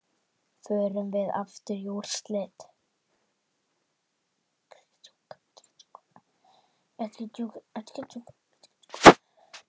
Förum við aftur í úrslit?